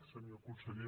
senyor conseller